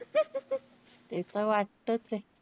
ते त वाटतंचे.